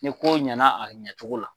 Ni kow ɲana a ɲacogo la.